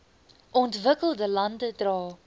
ontwikkelde lande dra